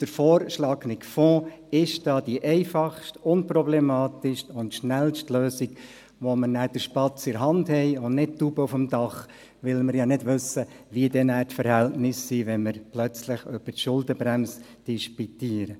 Der vorgeschlagene Fonds ist da die einfachste, unproblematischste und schnellste Lösung, mit der wir dann den Spatz in der Hand haben und nicht die Taube auf dem Dach, weil wir ja nicht wissen, wie nachher die Verhältnisse, wenn wir plötzlich über die Schuldenbremse disputieren.